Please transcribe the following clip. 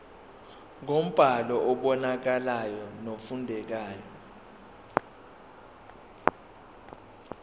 ngombhalo obonakalayo nofundekayo